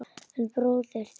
En bróðir þinn.